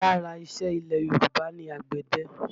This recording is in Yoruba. Lára ìṣe ilẹ̀ Yorùbá ni àgbẹ̀dẹ